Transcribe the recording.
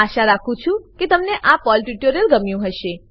આશા રાખું છું કે તમને આ પર્લ ટ્યુટોરીયલ ગમ્યું હશે